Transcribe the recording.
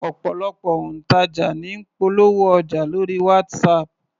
Ọ̀pọ̀lọpọ̀ òǹtajà ní ń polówó ọjà lórí WhatsApp